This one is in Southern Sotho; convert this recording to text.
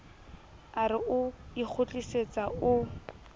a re o ikgutlisetsa o